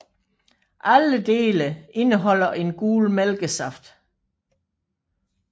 Alle dele indeholder en gul mælkesaft